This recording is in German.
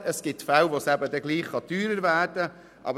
Es gibt Fälle, wo das eben auch teurer werden kann.